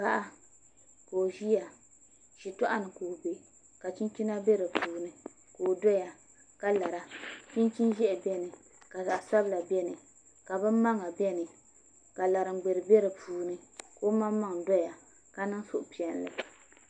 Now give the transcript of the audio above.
Paɣa ka o ʒiya shitoɣu ni ka o bɛ ka chinchina bɛ di puuni ka o doya ka lara chinchin ʒiɛhi biɛni ka zaɣ sabila biɛni ka bin maŋa biɛni la laringbɛri bɛ di puuni ka ŋun maŋmaŋ doya ka niŋ suhupiɛlli